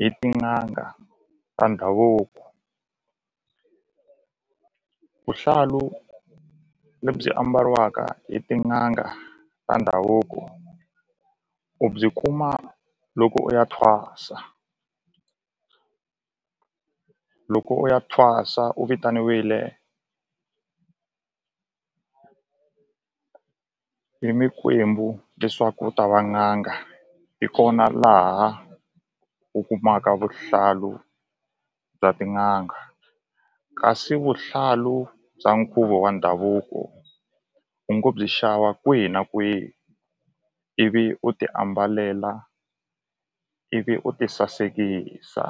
hi tin'anga ta ndhavuko vuhlalu lebyi ambariwaka hi tin'anga ta ndhavuko u byi kuma loko u ya thwasa loko u ya thwasa u vitanile hi mikwembu leswaku u ta va n'anga hi kona laha u kumaka vuhlalu bya tin'anga kasi vuhlalu bya nkhuvo wa ndhavuko u ngo byi xava kwihi na kwihi ivi u ti ambalela ivi u ti sasekisa.